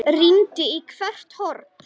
Rýndi í hvert horn.